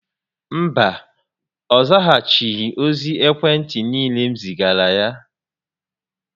Mba, ọ zaghachighi ozi ekwe ntị niile m zigara ya